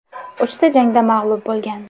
Uchta jangda mag‘lub bo‘lgan.